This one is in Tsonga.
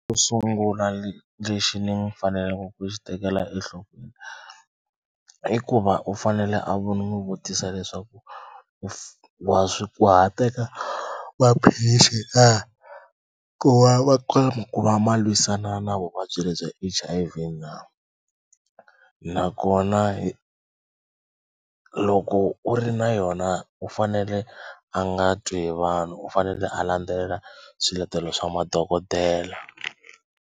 Sungula lexi ni faneleke ku xi tekela enhlokweni i ku va u fanele a vo ni n'wi vutisa leswaku u wa swi wa ha teka maphilisi na ku va ma ku va ma lwisana na vuvabyi lebyi bya H_I_V na nakona hi loko u ri na yona u fanele a nga twi hi vanhu u fanele a landzelela swiletelo swa madokodela.